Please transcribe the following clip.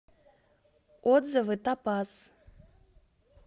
отзывы топаз